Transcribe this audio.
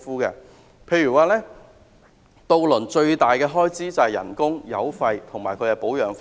例如，渡輪最大的開支是工資、油費及保養費。